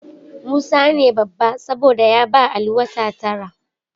Musa ne babba, saboda ya ba Ali wata tara.